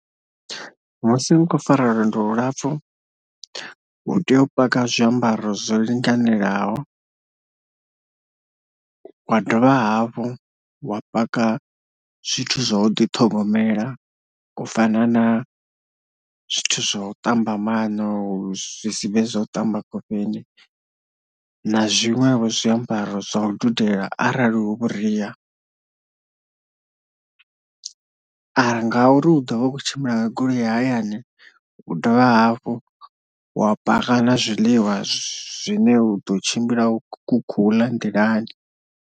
Musi u khou fara lwendo lu lapfhu u tea u paka zwiambaro zwo linganelaho wa dovha hafhu wa paka zwithu zwa u ḓi ṱhogomela u fana na zwithu zwa u ṱamba maṋo, zwisibe zwa u ṱamba khofheni na zwiṅwevho zwiambaro zwa u dudela arali hu vhuria, ara ngauri u ḓovha u kho tshimbila goloi ya hayani u dovha hafhu wa paka na zwiḽiwa zwine u ḓo tshimbila ukho uḽa nḓilani.